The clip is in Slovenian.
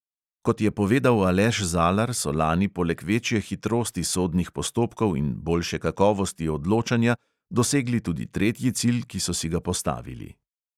Kot je povedal aleš zalar, so lani poleg večje hitrosti sodnih postopkov in boljše kakovosti odločanja dosegli tudi tretji cilj, ki so si ga postavili.